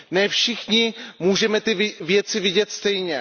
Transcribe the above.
Ne všichni můžeme ty věci vidět stejně.